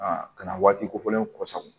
ka na waati kofɔlenw kɔsa